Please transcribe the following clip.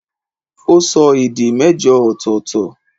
ó sọ èdè mẹ́jọ ọ̀tọ̀ọ̀tọ̀